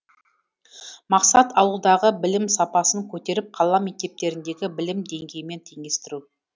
мақсат ауылдағы білім сапасын көтеріп қала мектептеріндегі білім деңгейімен теңестіру